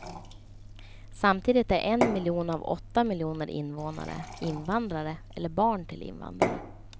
Samtidigt är en miljon av åtta miljoner invånare invandrare eller barn till invandrare.